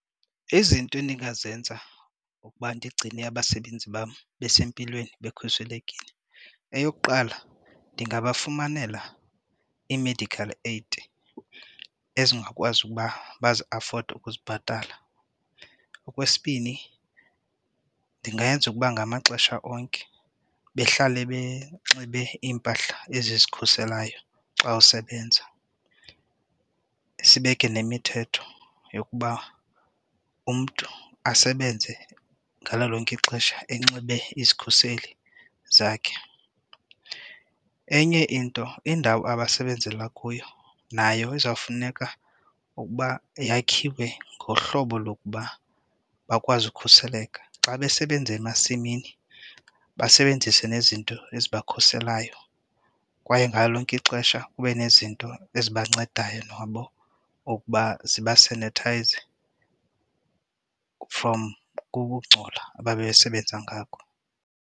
Izinto endingazenza ukuba ndigcine abasebenzi bam besempilweni bekhuselekile, eyokuqala ndingabafunela ii-medical aid ezingakwazi ukuba baziafode ukuzibhatala. Okwesibini, ndingayenza ukuba ngamaxesha onke behlale benxibe iimpahla ezi zikhuselayo xa usebenza sibeke nemithetho yokuba umntu asebenze ngalo lonke ixesha enxibe izikhuseli zakhe. Enye into indawo abasebenzela kuyo nayo izawufuneka ukuba yakhiwe ngohlobo lokuba bakwazi ukhuseleka. Xa besebenza emasimini basebenzise nezinto ezibakhuselayo kwaye ngalo lonke ixesha kube nezinto ezibancedayo nabo ngokuba zibasanithayize from ukungcola ababesebenza ngako.